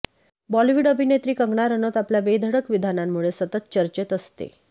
बॉलीवूड अभिनेत्री कंगना रनौत आपल्या बेधडक विधानांमुळे सतत चर्चेत असते